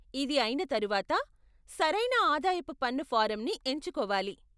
ఇది అయిన తరువాత, సరైన ఆదాయపు పన్ను ఫారంని ఎంచుకోవాలి.